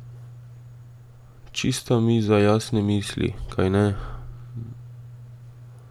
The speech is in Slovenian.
Čista miza jasne misli, kajne?